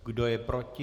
Kdo je proti?